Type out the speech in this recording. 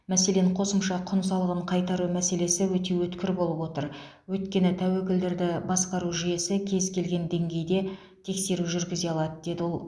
мәселен қосымша құн салығын қайтару мәселесі өте өткір болып отыр өйткені тәуекелдерді басқару жүйесі кез келген деңгейде тексеру жүргізе алады деді ол